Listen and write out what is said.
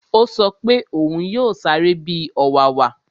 Ó sọ pé òún yóò sáré bi ọ̀wàwà